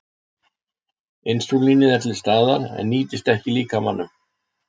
Insúlínið er til staðar en nýtist ekki líkamanum.